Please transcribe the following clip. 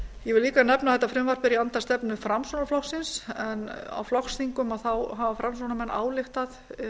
ég vil líka nefna að þetta frumvarp er í anda stefnu framsóknarflokksins en á flokksþingum hafa framsóknarmenn ályktað